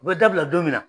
U bɛ dabila don min na